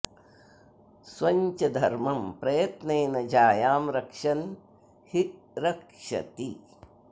स्वं च धर्मं प्रयत्नेन जायां रक्षन् हि रक्षति